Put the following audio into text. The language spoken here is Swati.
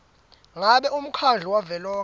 ngabe umkhandlu wavelonkhe